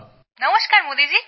নমস্কার মোদীজি